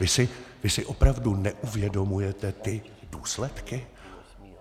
Vy si opravdu neuvědomujete ty důsledky?